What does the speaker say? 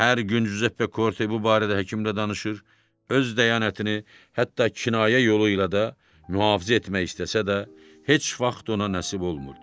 Hər gün Giuseppe Korte bu barədə həkimlə danışır, öz dyanətini hətta kinayə yolu ilə də mühafizə etmək istəsə də, heç vaxt ona nəsib olmurdu.